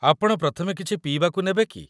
ଆପଣ ପ୍ରଥମେ କିଛି ପିଇବାକୁ ନେବେ କି?